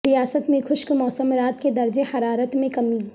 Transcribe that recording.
ریاست میں خشک موسم رات کے درجہ حرارت میں کمی